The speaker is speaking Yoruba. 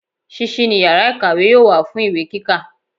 Sísí ni yàrá ìkàwé yóò wà fún ìwé kíkà